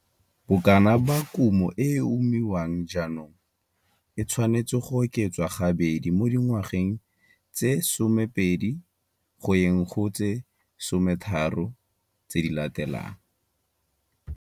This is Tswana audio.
Bokana ba kumo e e umiwang jaanong e tshwanetse go oketswa gabedi mo dingwageng tse 20, 30 tse di latelang.